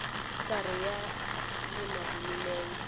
karhi a yima hi milenge